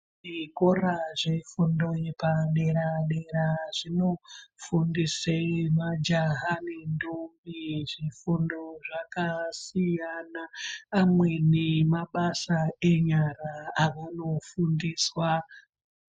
Zvikora zvefundo yepadera dera zvinofundise majaha nentombi zvifundo zvakasiyana amweni mabasa enyara avanofundiswa.